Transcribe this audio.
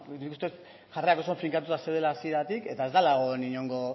nik uste jarrerak oso finkatuta zeudela hasieratik eta ez dela egon inongo